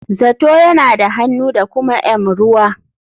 Zato yana da hannu da kuma m ruwa.